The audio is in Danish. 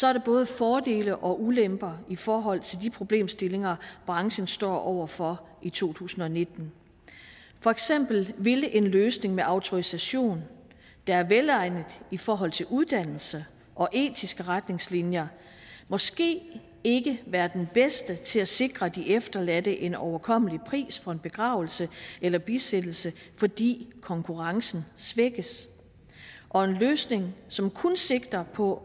er der både fordele og ulemper i forhold til de problemstillinger branchen står over for i to tusind og nitten for eksempel ville en løsning med autorisationen der er velegnet i forhold til uddannelse og etiske retningslinjer måske ikke være den bedste til at sikre de efterladte en overkommelig pris for en begravelse eller bisættelse fordi konkurrencen svækkes og en løsning som kun sigter på